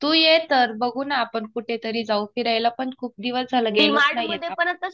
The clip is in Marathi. तू ये तर. बघू ना आपण कुठेतरी जाऊ. फिरायला पण खूप दिवस झालेत गेलोच नाही आपण.